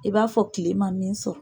I b'a fɔ tile ma min sɔrɔ.